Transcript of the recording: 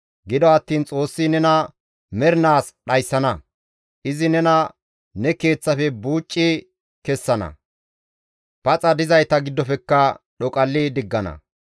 Gido attiin Xoossi nena mernaas dhayssana; izi nena ne keeththafe buuci kessana; paxa dizayta giddofekka dhoqalli diggana.